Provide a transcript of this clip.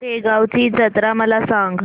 शेगांवची जत्रा मला सांग